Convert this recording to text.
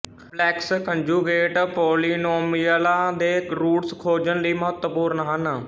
complex conjugate ਪੌਲੀਨੌਮੀਅਲਾਂ ਦੇ roots ਖੋਜਣ ਲਈ ਮਹੱਤਵਪੂਰਨ ਹਨ